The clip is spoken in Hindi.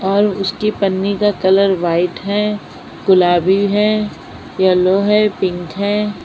और उसके पन्नी का कलर व्हाइट है गुलाबी है येलो है पिंक है।